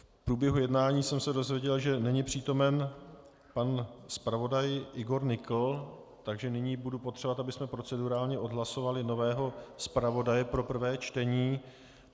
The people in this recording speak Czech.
V průběhu jednání jsem se dozvěděl, že není přítomen pan zpravodaj Igor Nykl, takže nyní budu potřebovat, abychom procedurálně odhlasovali nového zpravodaje pro prvé čtení.